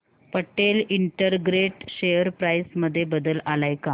Patel integrate share price मध्ये बदल आलाय का